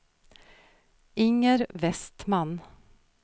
Inger Vestman